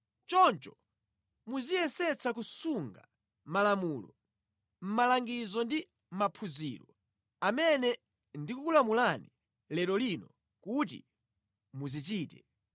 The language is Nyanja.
Choncho muziyesetsa kusunga malamulo, malangizo ndi maphunziro amene ndikukulamulani lero lino kuti muchite.